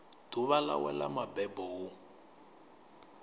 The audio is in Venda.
ḓuvha ḽawe ḽa mabebo hu